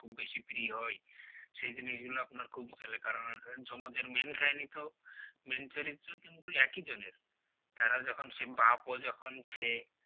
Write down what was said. খুব বেশি প্রিয় হয় সেই জিনিসগুলো আপনার খুব চলে কারণ যমজের main কাহিনী তো main চরিত্র কিন্তু একই জনের তারা যখন সে বাপও যখন সে